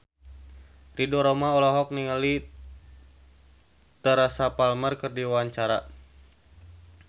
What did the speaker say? Ridho Roma olohok ningali Teresa Palmer keur diwawancara